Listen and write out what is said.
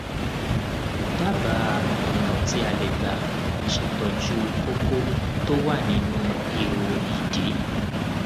dábàá ọnà tí tí a lè gbà ṣètọjú kókó tó wà nínú ihò ìdí